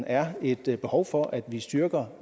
er et behov for at vi styrker